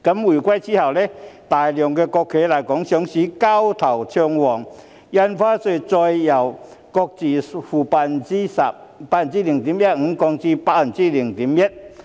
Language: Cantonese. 回歸後，大量國企來港上市，交投暢旺，印花稅再由買賣雙方各付 0.15% 下降至 0.1%。